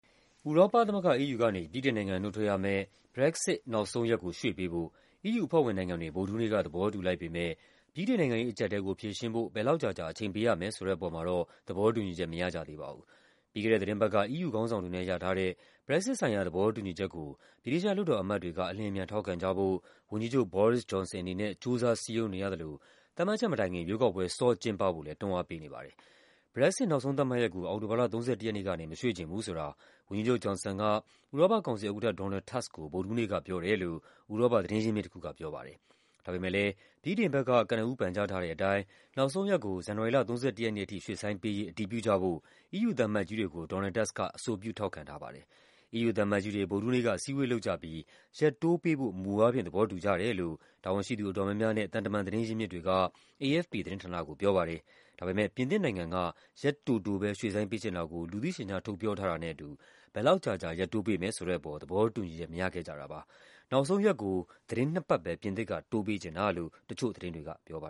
ဥရောပသမဂ္ဂ EU ကနေ ဗြိတိန်နိုင်ငံ နုတ်ထွက်ရမယ့် Brexit နောက်ဆုံးရက်ကို ရွှေ့ပေးဖို့ EU အဖွဲ့ဝင်နိုင်ငံတွေ ဗုဒ္ဓဟူးနေ့က သဘောတူလိုက်ပေမယ့် ဗြိတိန်နိုင်ငံရေး အကျပ်အတည်းကို ဖြေရှင်းဖို့ ဘယ်လောက်ကြာကြာ အချိန်ပေးရမယ်ဆိုတဲ့ အပေါ်မှာ တော့ သဘောတူညီချက် မရကြသေးပါဘူး။ ပြီးခဲ့တဲ့ သီတင်းပတ်က EU ခေါင်းဆောင်တွေနဲ့ ရထားတဲ့ Brexit ဆိုင်ရာ သဘောတူညီချက်ကို ဗြိတိသျှ လွှတ်တော်အမတ်တွေက အလျင်အမြန် ထောက်ခံကြဖို့ ဝန်ကြီးချုပ် Boris Johnson အနေနဲ့ ကြိုးစားစည်းရုံးနေရသလို သတ်မှတ်ချက်မတိုင်ခင် ရွေးကောက်ပွဲ စောကျင်းပဖို့လည်း တွန်းအားပေးနေပါတယ်။ Brexit နောက်ဆုံး သတ်မှတ်ရက်ကို အောက်တိုဘာလ ၃၁ ရက်နေ့ကနေ မရွှေ့ချင်ဘူးဆိုတာ ဝန်ကြီးချုပ် Johnson က ဥရောပ ကောင်စီဥက္ကဋ္ဌ Donald Tusk ကို ဗုဒ္ဓဟူးနေ့ကပြောတယ်လို့ ဥရောပသတင်းရင်းမြစ်တခုက ပြောပါတယ်။ ဒါပေမယ့်လည်း ဗြိတိန်ဘက်က ကနဦး ပန်ကြားထားတဲ့အတိုင်း နောက်ဆုံးရက်ကို ဇန်နဝါရီလ ၃၁ ရက်နေ့အထိ ရွှေ့ဆိုင်းပေး ရေး အတည်ပြုကြဖို့ EU သံအမတ်ကြီးတွေကို Donald Tusk က အဆိုပြု ထောက်ခံထားပါတယ်။ EU သံအမတ်ကြီးတွေ ဗုဒ္ဓဟူးနေ့က အစည်းအဝေးလုပ်ကြပြီး ရက်တိုးပေးဖို့ မူအားဖြင့် သဘောတူကြတယ်လို့ တာဝန်ရှိသူ အတော်များများနဲ့ သံတမန် သတင်းရင်းမြစ်တွေက AFP သတင်းဌာနကိုပြောပါတယ်။ ဒါပေမယ့် ပြင်သစ်နိုင်ငံက ရက်တိုတိုပဲ ရွှေ့ဆိုင်းပေးချင်တာကို လူသိရှင်ကြား ထုတ်ပြောထားတာနဲ့အတူ ဘယ်လောက်ကြာကြာ ရက်တိုးပေးမယ်ဆိုတဲ့အပေါ် သဘော တူညီချက် မရခဲ့ကြတာပါ။ နောက်ဆုံးရက်ကို သီတင်းနှစ်ပတ်ပဲ ပြင်သစ်က တိုးပေးချင်တာလို့ တချို့သတင်းတွေကပြောပါ